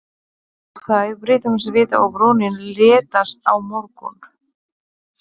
Þá birtumst við og brúnin léttist á mörgum.